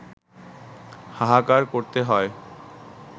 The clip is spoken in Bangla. হাহাকার করতে হয়